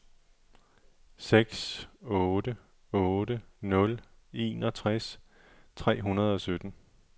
seks otte otte nul enogtres tre hundrede og sytten